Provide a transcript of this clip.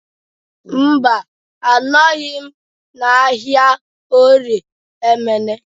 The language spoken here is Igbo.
Mba, anọghị m n'ahịa Orie Emene